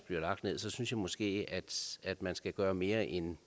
bliver lagt ned så synes jeg måske at man skal gøre mere end